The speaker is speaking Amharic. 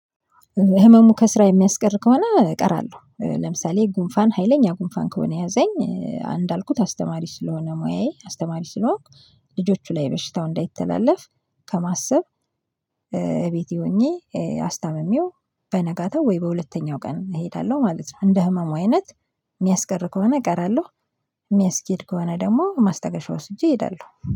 ህመሙ ከስራ የሚያስቀር ከሆነ እቀራለሁ ለምሳሌ ጉንፋን ሀይለኛ ጉንፋን ከሆነ ያዘኝ አንድ አልኩት አስተማሪ ስለሆነ ሙያዬ አስተማሪ ስለሆንኩ ልጆቹ ላይ በሽታው እንዳይተላለፍ ከማሰብ። ቤቴ ሆኜ አስታምሜው በነጋታው ወይ በሁለተኛው ቀን እሄዳለሁ ማለት ነው። እንደ ህመሙ አይነት የሚያስቀር ከሆነ እቀራለሁ። የሚያስኬድ ከሆነ ደግሞ ማስተገሻ ወስጄ እሄዳለሁ